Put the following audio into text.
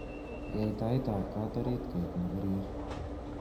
Yai taitab kot orot koek nebirir